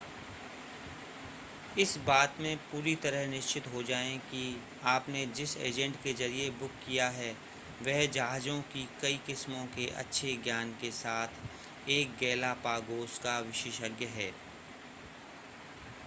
इस बात में पूरी तरह निश्चिंत हो जाएं कि आपने जिस एजेंट के जरिए बुक किया है वह जहाजों की कई किस्मों के अच्छे ज्ञान के साथ एक गैलापागोस का विशेषज्ञ है